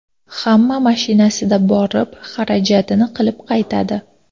Hamma mashinasida borib, xarajatini qilib qaytadi.